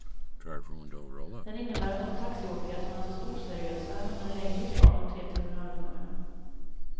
Den innebär att de taxiåkare som anses oseriösa hamnar längre ifrån de tre terminalutgångarna.